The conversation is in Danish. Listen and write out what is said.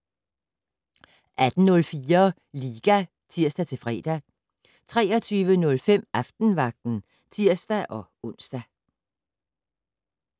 18:04: Liga (tir-fre) 23:05: Aftenvagten (tir-ons)